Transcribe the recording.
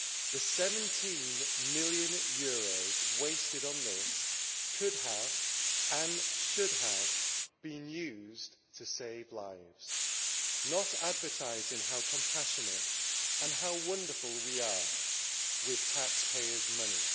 The EUR 17 million wasted on this could have, and should have, been used to save lives, and not on advertising how compassionate and how wonderful we are, with taxpayers' money.